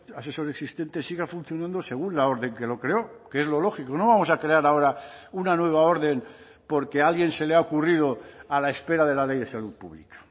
asesor existente siga funcionando según la orden que lo creó que es lo lógico no vamos a crear ahora una nueva orden porque a alguien se le ha ocurrido a la espera de la ley de salud pública